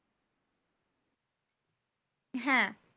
হ্যাঁ